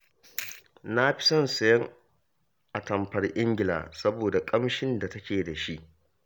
Na fi son sayen atamfar Ingila, saboda ƙamshin da take da shi